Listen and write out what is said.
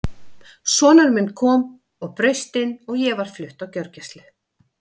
Sonur minn kom og braust inn og ég var flutt á gjörgæslu.